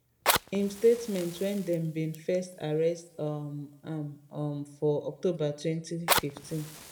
im statement wen dem bin first arrest um am um for october 2015